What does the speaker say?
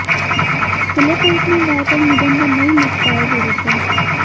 खुले कोर्ट में गाय पर निबंध नहीं लिख पाए गुरुजी